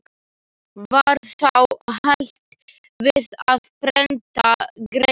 Var þá hætt við að prenta greinina.